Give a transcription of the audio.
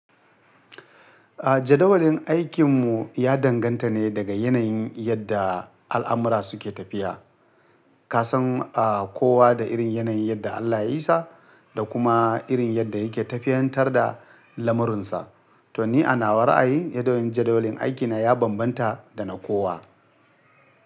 A jadawalin aikinmu ya danganta ne daga yanayin yadda al'amura suke tafiya. Kasan kowa da irin yanayin yadda Allah ya yi sa da kuma irin yadda yake tafiyantar da lamurinsa. To ni a nawa ra'ayi, yanayin jadawalin aiki na ya bambanta da na kowa.